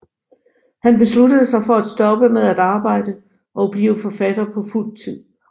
Han besluttede sig for at stoppe med at arbejde og blive forfatter på fuld tid